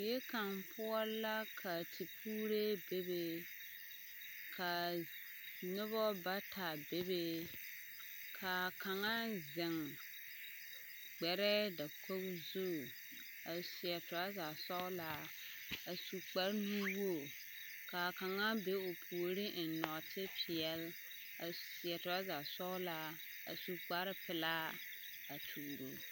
Die kaŋ poɔ la ka tipuuree be kaa nobɔ bata bebe kaa kaŋa zeŋ gbɛrɛɛ dakoge zu a seɛ trɔza sɔglaa a su kpare nuwogre kaa kaŋa be o puoriŋ eŋ nɔɔte peɛle a seɛ trɔza sɔglaa a su kparepelaa a tuuro.